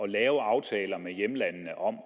lave aftaler med hjemlandene om